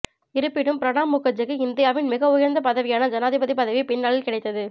இருப்பினும் பிரணாப் முகர்ஜிக்கு இந்தியாவின் மிக உயர்ந்த பதவியான ஜனாதிபதி பதவி பின்னாளில் கிடைத்தது